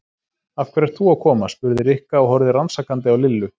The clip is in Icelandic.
Af hverju ert þú að koma? spurði Rikka og horfði rannsakandi á Lillu.